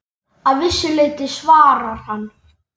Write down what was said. Að vissu leyti svarar hann.